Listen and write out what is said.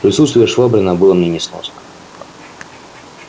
присутствие швабрина было мне несносно